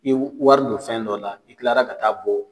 I wari don fɛn dɔ la i tilara ka taa bɔ